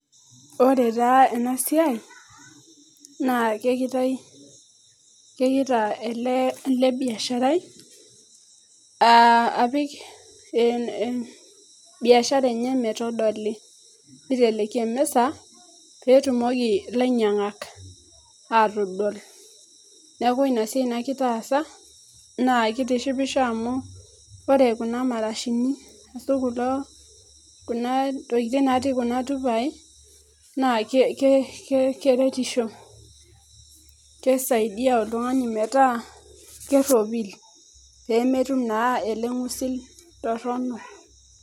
Ore taa enasiai na kegita ele biasharai apik biashara enye metodili neiteleki emisa pee eutumoki lainyangak atodol niaku ina siai nagita aasa naa keitisipisho amu ore kuna marashini aashu kuna tokitin natii kuna tupai naa keretisho keisaidia oltungani metaa keropil pee meitoki atum naa ele ngusil torrono